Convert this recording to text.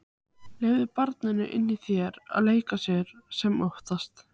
Leyfðu barninu í þér að leika sér sem oftast.